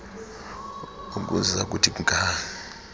ukuza kuthi ga